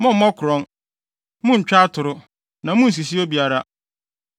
“ ‘Mommmɔ korɔn. “ ‘Munntwa atoro. “ ‘Na munnsisi obiara.